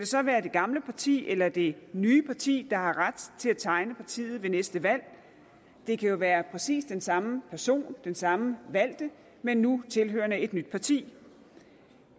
så være det gamle parti eller det nye parti der har ret til at tegne partiet ved næste valg det kan jo være præcis den samme person den samme valgte men nu tilhørende et nyt parti